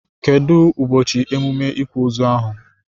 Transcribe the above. Kedu ụbọchị emume ikwa ozu ahụ?